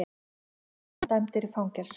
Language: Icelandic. Lögreglumenn dæmdir í fangelsi